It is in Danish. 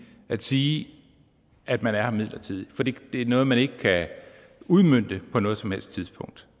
at sige at man er her midlertidigt fordi det er noget man ikke kan udmønte på noget som helst tidspunkt